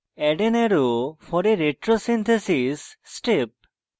add an arrow for a retrosynthesis step